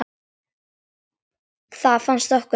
Það fannst okkur smart.